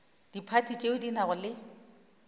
diphathi tšeo di nago le